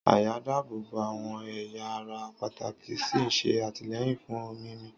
Àyà ń dáàbò bo àwọn ẹ̀yà ara pàtàkì ó sì ń ṣe àtìlẹ́yìn fún mímí.